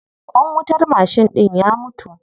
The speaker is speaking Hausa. Ƙwan wutar mashin ɗin ya mutu.